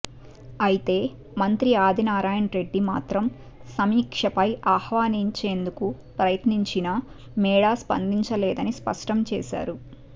అయితే మంత్రి ఆదినారాయణరెడ్డి మాత్రం సమీక్షపై ఆహ్వానించేందుకు ప్రయత్నించినా మేడా స్పందించలేదని స్పష్టం చేశారు